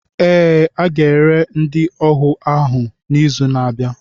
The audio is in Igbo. Ee, a ga-ere ndị ohu ahụ n'izu na-abịa.